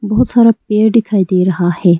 बहुत सारा पेड़ दिखाई दे रहा है।